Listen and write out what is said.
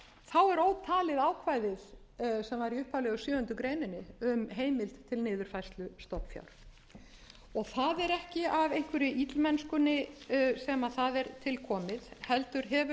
greinar um heimild til niðurfærslu stofnfjár það er ekki af einhverri illmennsku sem það er til komið heldur hefur það verið upplýst og var hér